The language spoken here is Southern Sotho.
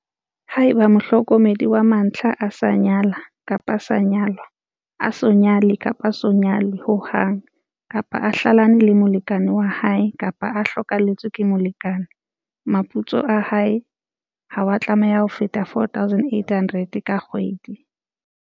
Haeba mohlokomedi wa mantlha a sa nyala kapa a sa nyalwa a so nyale kapa a so nyalwe ho hang, kapa a hlalane le molekane wa hae kapa a hlokahalletswe ke molekane, moputso wa hae ha wa tlameha ho feta R4 800 ka kgwedi.